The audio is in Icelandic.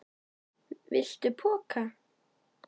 Viltu poka?